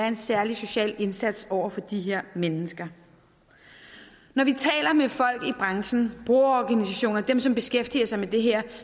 en særlig social indsats over for de her mennesker når vi taler med folk i branchen brugerorganisationer dem som beskæftiger sig med det her